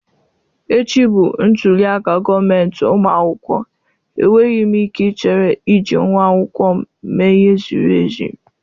echi bụ ntuli aka gọọmentị ụmụ akwụkwọ, enweghị m ike ichere iji nwa akwụkwọ m mee ihe ziri ezi.